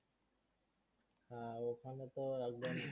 হ্যাঁ ওখানে তো একদম